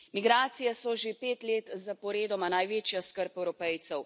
Migracije so že pet let zaporedoma največja skrb Evropejcev.